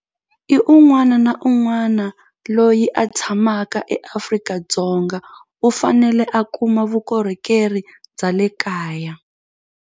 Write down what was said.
I un'wana na un'wana loyi a tshamaka eAfrika-Dzonga u fanele a kuma vukorhokeri bya le kaya.